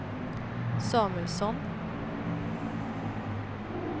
Samuelsson